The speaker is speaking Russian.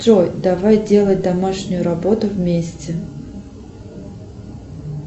джой давай делать домашнюю работу вместе